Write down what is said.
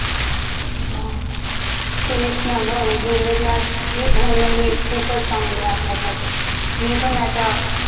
तेच ना गं middle class होणं हि खूपच चांगले आहे आपल्यासाठी